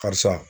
Karisa